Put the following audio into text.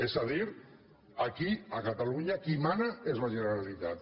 és a dir aquí a catalunya qui mana és la generalitat